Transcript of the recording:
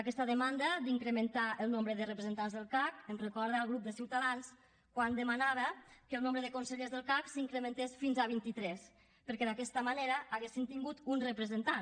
aquesta demanda d’incrementar el nombre de representants del cac em recorda el grup de ciutadans quan demanava que el nombre de consellers del cac s’incrementés fins a vint i tres perquè d’aquesta manera haurien tingut un representant